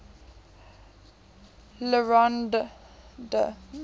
le rond d